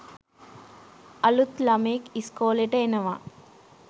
අලුත් ලමයෙක් ඉස්කෝලෙට එනවා